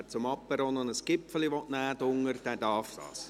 Wer zum Apéro noch ein Gipfeli nehmen will, darf dies gerne tun.